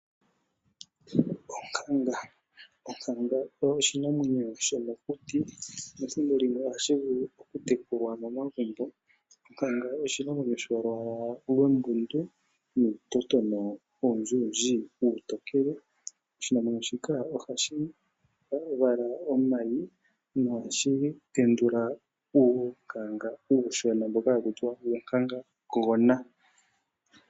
Onkanga, onkanga oyo oshinamwenyo shomokuti nethimbo limwe ohashi vulu oku tekulwa momagumbo. Onkanga oyili molwaala lwombundu nuutotona owundji uutokele . Oshinamwenyo shika ohashi vala omayi nohashi tendula uunkanga uushona mboka hakutiwa uunkangagona.